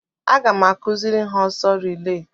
Aga m akụziri ha ọsọ rilee.